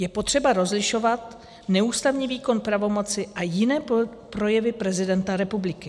Je potřeba rozlišovat neústavní výkon pravomoci a jiné projevy prezidenta republiky.